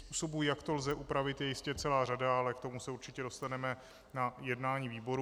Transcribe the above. Způsobů, jak to lze upravit, je jistě celá řada, ale k tomu se určitě dostaneme na jednání výborů.